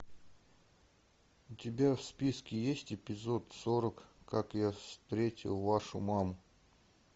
у тебя в списке есть эпизод сорок как я встретил вашу маму